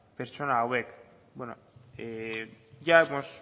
pertsona hauek bueno ya hemos